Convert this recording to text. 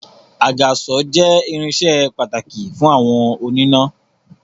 Àgàsọ̀ jẹ irinsẹ́ pàtàkì fún àwọn oníná